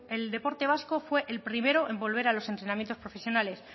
el deporte vasco fue el primero en volver a los entrenamientos profesionales